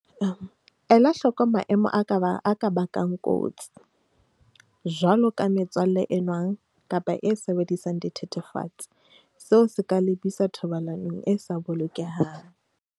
Ela hloko maemo a ka bang kotsi, jwaloka metswalle e nwang kapa e sebedisang dithethefatsi, seo se ka lebisa thobalanong e sa bolokehang.